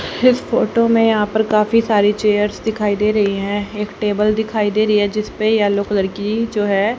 इस फोटो में यहां पर काफी सारी चेयर्स दिखाई दे रही है। एक टेबल दिखाई दे रही हैं जिसपे येलो कलर की जो हैं --